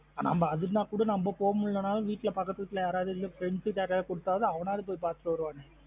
அனா அது நாலும் நம்ம போக முடியலன்னு வீட்ல பாகத்து வீட்ல யாராவது இல்லா friends டா கொடுத்தாவது அவனா ஆவாது போய் பாத்துட்டு வருவானுக